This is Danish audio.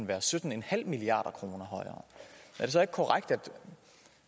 være sytten milliard kroner højere er det så ikke korrekt